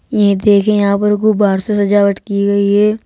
ये देखिए यहां पर गुब्बारों से सजावट की गई है।